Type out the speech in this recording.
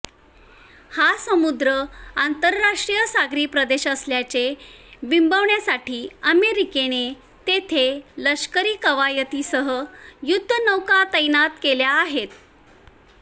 हा समुद्र आंतरराष्ट्रीय सागरी प्रदेश असल्याचे बिंबविण्यासाठी अमेरिकेने तेथे लष्करी कवायतीसह युद्धनौका तैनात केल्या आहेत